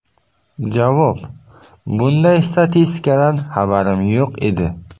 Javob: Bunday statistikadan xabarim yo‘q edi.